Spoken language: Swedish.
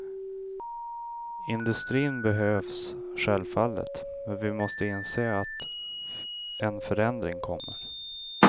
Industrin behövs självfallet, men vi måste inse att en förändring kommer.